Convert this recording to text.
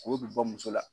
K'o bi bɔ muso la